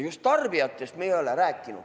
Just tarbijatest me ei ole rääkinud.